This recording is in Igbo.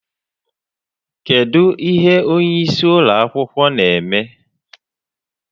Kedụ ihe onye isi ụlọ akwụkwọ na-eme?